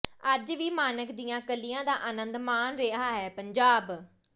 ਅੱਜ ਵੀ ਮਾਣਕ ਦੀਆਂ ਕਲੀਆਂ ਦਾ ਆਨੰਦ ਮਾਣ ਰਿਹਾ ਹੈ ਪੰਜਾਬ